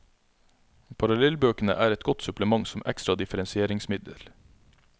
Parallellbøkene er et godt supplement som ekstra differensieringsmiddel.